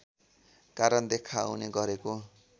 कारण देखाउने गरेको